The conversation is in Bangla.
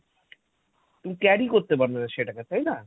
তুমি carry করতে পারবে না সেটাকে, তাই না?